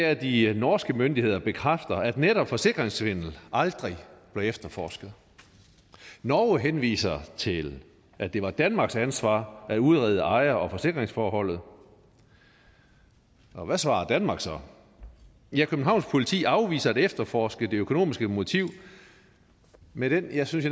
at de norske myndigheder bekræfter at netop forsikringssvindel aldrig blev efterforsket norge henviser til at det var danmarks ansvar at udrede ejer og forsikringsforholdet og hvad svarer danmark så ja københavns politi afviser at efterforske det økonomiske motiv med den jeg synes